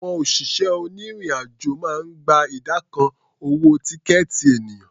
Àwọn òṣìṣẹ́ onírìn-àjò máa ń gba ìdá kan owó tíkẹ̀ẹ̀tì ènìyàn.